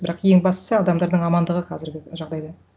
бірақ ең бастысы адамдардың амандығы қазіргі жағдайда